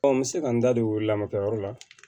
n bɛ se ka n da don o lamakɛyɔrɔ la